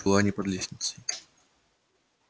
в чулане под лестницей